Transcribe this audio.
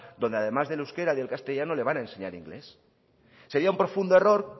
donde además del euskera y el castellano le van a enseñar inglés sería un profundo error